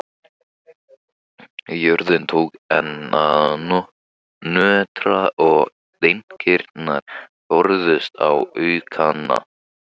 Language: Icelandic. Jörðin tók enn að nötra og dynkirnir færðust í aukana.